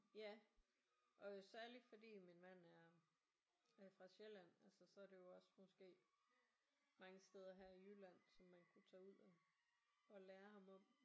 Ja og særligt fordi at min mand er er fra Sjælland altså så er det jo også måske mange steder her i Jylland som man kunne tage ud og og lære ham om